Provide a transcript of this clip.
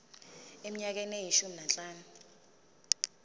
eminyakeni eyishumi nanhlanu